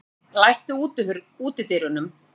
Fífill, læstu útidyrunum.